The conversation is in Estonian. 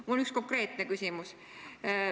Mul on üks konkreetne küsimus.